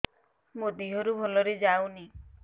ମୋ ଦିହରୁ ଭଲରେ ଯାଉନି